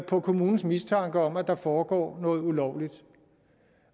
på kommunens mistanke om at der foregår noget ulovligt